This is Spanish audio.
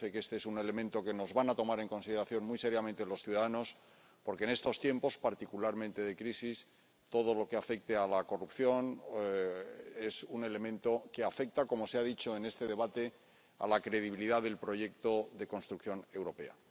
Me parece que este es un elemento que nos van a tomar en consideración muy seriamente los ciudadanos, porque en estos tiempos, particularmente de crisis, todo lo que afecte a la corrupción es un elemento que afecta —como se ha dicho en este debate— a la credibilidad del proyecto de construcción europea.